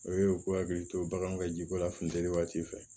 O ye u k'u hakili to baganw ka jiko la funteni waati fɛ